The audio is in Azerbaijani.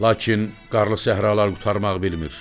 Lakin qarlı səhralar qurtarmaq bilmir.